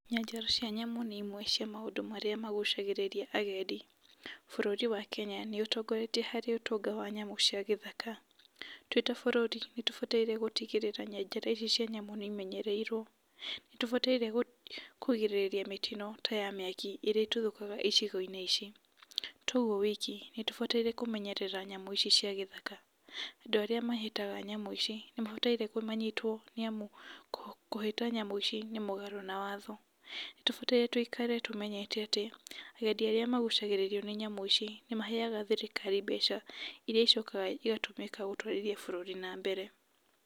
Nyanjara cia nyamũ nĩ imwe cia maũndũ marĩa magucagĩrĩria agendi. Bũrũri wa Kenya nĩ ũtongoretie harĩ ũtonga wa nyamũ cia gĩthaka. Twĩ ta bũrũri nĩ tũbataire gũtigĩrĩra nyanjara ici nĩ imenyereirwo. Nĩ tũbataire kũ kũgirĩrĩria mĩtino ta ya mĩaki ĩrĩa ĩtuthũkaga icigo-inĩ ici. Toguo wiki, nĩ tũbataire kũmenyerera nyamũ ici cia gĩthaka. Andũ arĩa mahĩtaga nyamũ ici nĩ mabataire kũ manyitwo nĩ amu kũ, kũhĩta nyamũ ici nĩ mũgarũ na watho. Nĩ tũbataire tũikare tũmenyete atĩ agendi arĩa magucagĩrĩrio nĩ nyamũ ici nĩ maheaga thirikari mbeca iria icokaga igatũmĩka gũtwarithia bũrũri na mbere.